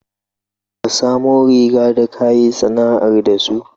Ka samu riba da ka yi sana'ar da su?